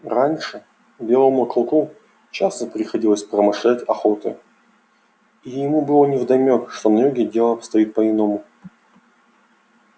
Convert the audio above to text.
раньше белому клыку часто приходилось промышлять охотой и ему было невдомёк что на юге дело обстоит по иному